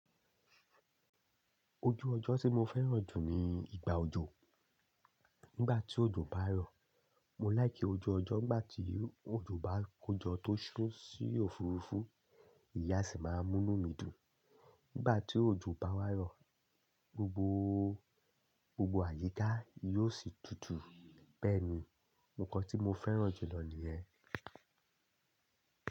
Ojú ọjọ́ tí mo fẹ́ràn jù ni ìgbà òjò. Nígbà tí òjò bá rọ̀, mo láìkí ojú ọjọ́. Nígbà tí òjò bá kójọ tó ṣún sí òfurufú, ìyen sì máa mú inú mi dùn. Nígbà tí òjò bá wá rọ̀, gbogbo, gbogbo àyíká yóò sì dudu. Bẹ́ẹ̀ni, nǹkan tí mo fẹ́ràn jùlọ ni yẹ́n.